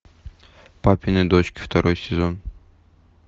папины дочки второй сезон